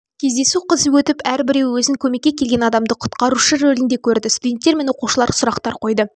кездесу қызу өтіп әрбіреуі өзін көмекке келген адамы құтқарушы ролінде көрді студенттер мен оқушылар сұрақтар қойды